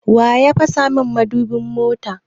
Wa ya fasa mun mudubin mota?